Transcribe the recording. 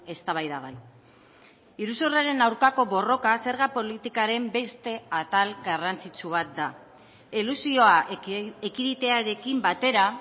eztabaidagai iruzurraren aurkako borroka zerga politikaren beste atal garrantzitsu bat da elusioa ekiditearekin batera